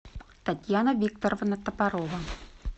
татьяна викторовна топорова